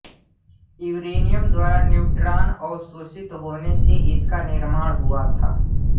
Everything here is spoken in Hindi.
यूरेनियम द्वारा न्यूट्रान अवशोषित होने से इसका निर्माण हुआ था